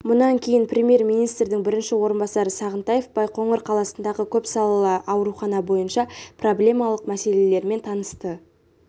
мұнан кейін премьер-министрдің бірінші орынбасары сағынтаев байқоңыр қаласындағы көпсалалы аурухана бойынша проблемалық мәселелерімен танысты